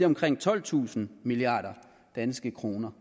omkring tolvtusind milliard danske kroner